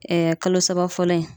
Ɛɛ kalo saba fɔlɔ in